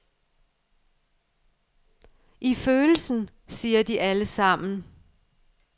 I følelsen, siger de alle sammen.